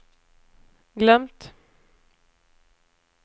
glömt